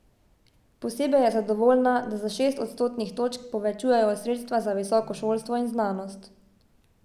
Posebej je zadovoljna, da za šest odstotnih točk povečujejo sredstva za visoko šolstvo in znanost.